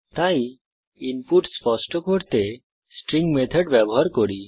তাই ইনপুট স্পষ্ট করতে স্ট্রিং মেথড ব্যবহার করি